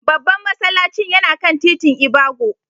Babban masallacin yana kan titin ibago.